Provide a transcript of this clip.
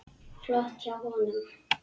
Flott hjá honum.